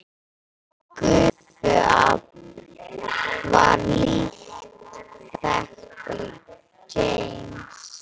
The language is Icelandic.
Gufuafl var lítt þekkt og James